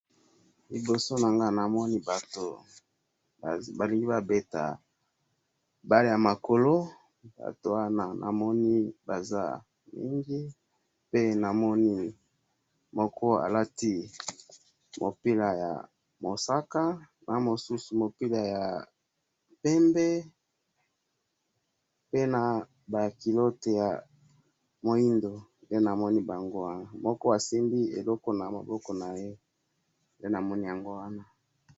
liboso nangai namoni batu balingi babeta balle ya makolo, batu wana namoni baza mingi, pe namoni moko alati mupila ya mosaka, na mususu mupila ya pembe, pe naba culottes ya muindo, pe namoni bango wana, moko asimbi eloko na maboko naye, pe namoni yango wana